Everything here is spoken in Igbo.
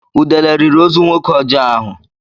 Udele riri ozu nwoke ọjọọ ahụ.